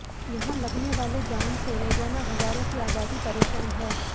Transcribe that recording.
यहां लगने वाले जाम से रोजाना हजारों की आबादी परेशान है